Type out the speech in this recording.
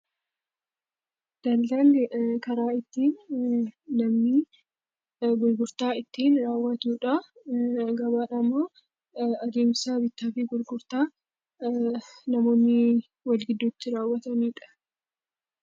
Daldalli karaa ittiin gurgurtaa ittiin raawwatudha. Gabaan immoo adeemsa bittaa fi gurgurtaa namoonni wal gidduutti taasisanidha .